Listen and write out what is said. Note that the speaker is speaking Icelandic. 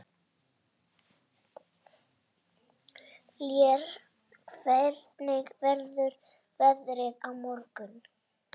Lér, hvernig verður veðrið á morgun?